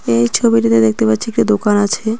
এই ছবিটিতে দেখতে পাচ্ছি একটি দোকান আছে।